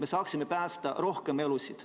Me saaksime ju päästa rohkem elusid.